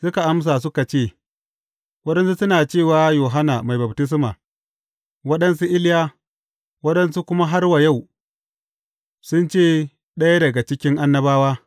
Suka amsa, suka ce, Waɗansu suna cewa, Yohanna Mai Baftisma, waɗansu Iliya, waɗansu kuma har wa yau sun ce, ɗaya daga cikin annabawa.